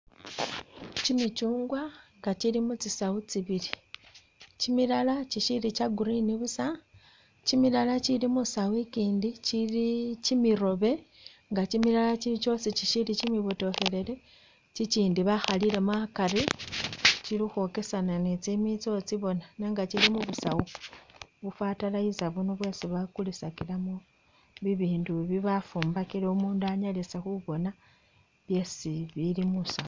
Kimichungwa nga kili mutsi sawu tsibili kimilala kisili kya green busa kimilala kili musawu ikindi kili kimiroobe nga kimilala kili kyoosi chili kimibotokhelele, kikindi bakhalilemo akari kili khukhwokesana ni tsimitso utsiboona nenga kili mubusawu bufatalizer buno bwesi bakulisakilamo bibindu ibi bafumbakile umundu Annalise khuboona byesi bili musawu